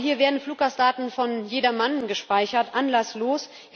Aber hier werden Fluggastdaten von jedermann gespeichert anlasslos.